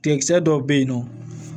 Tiga dɔw bɛ yen nɔ